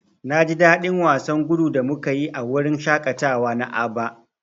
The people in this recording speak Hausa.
Na ji dadin wasan gudu da muka yi a wurin shaƙatawa na Aba.